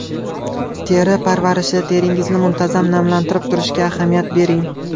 Teri parvarishi Teringizni muntazam namlantirib turishga ahamiyat bering.